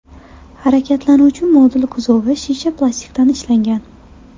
Harakatlanuvchi modul kuzovi shisha plastikdan ishlangan.